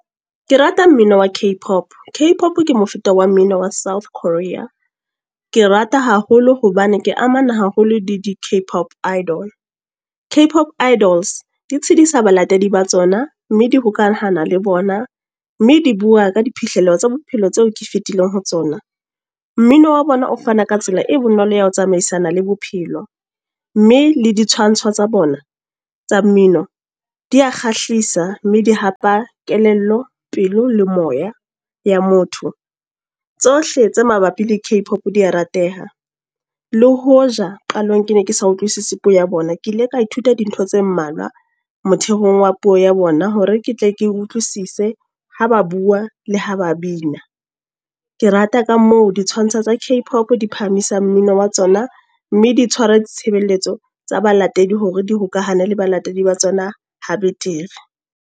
Ke rata mmino wa Cape Pop. Cape Pop ke mofuta wa mmino wa South Korea. Ke rata haholo hobane ke amana haholo le di Cape Pop Idol. Cape Pop Idols di tshidisa balatedi ba tsona, mme hokahana le bona. Mme di bua ka diphihlello tsa bophelo tseo ke fetileng ho tsona. Mmino wa bona o fana ka tsela e bonolo ya ho tsamaisana le bophelo. Mme le ditshwantsho tsa bona, tsa mmino. Di ya kgahlisa mme di hapa kelello, pelo le moya ya motho. Tsohle tse mabapi le Cape Pop di a rateha. Le hoja qalong ke ne ke sa utlwisisi puo ya bona. Ke ile ka ithuta dintho tse mmalwa motheong wa puo ya bona. Hore ke tle ke utlwisise ha ba bua, le ha ba bina. Ke rata ka moo ditshwantsho tsa Cape Pop di phahamisang mmino wa tsona mme di tshwara ditshebeletso tsa balatedi hore di hokahane le balatedi ba tsona ha betere.